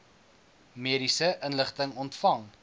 mediese inligting ontvang